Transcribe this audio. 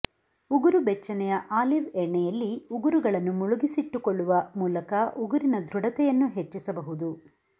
ಉಗುರುಬೆಚ್ಚನೆಯ olive ಎಣ್ಣೆಯಲ್ಲಿ ಉಗುರುಗಳನ್ನು ಮುಳುಗಿಸಿಟ್ಟುಕೊಳ್ಳುವ ಮೂಲಕ ಉಗುರಿನ ದೃಢತೆಯನ್ನು ಹೆಚ್ಚಿಸಬಹುದು